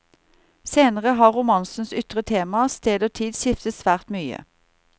Senere har romanenes ytre tema, sted og tid skiftet svært mye.